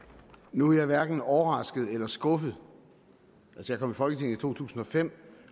nu er jeg hverken overrasket eller skuffet jeg kom i folketinget i to tusind og fem